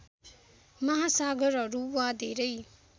महासागरहरू वा धेरै